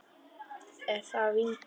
Er það vinkona þín?